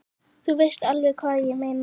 Þú veist alveg hvað ég meina!